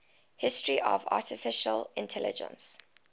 history of artificial intelligence